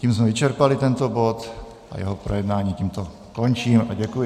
Tím jsme vyčerpali tento bod a jeho projednání tímto končím a děkuji.